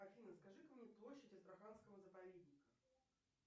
афина скажи ка мне площадь астраханского заповедника